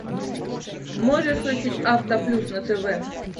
можешь включить автоплюс на тв